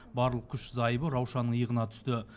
барлық күш зайыбы раушанның иығына түсті